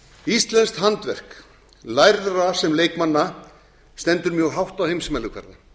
íslenskt handverk lærðra sem leikmanna stendur mjög hátt á heimsmælikvarða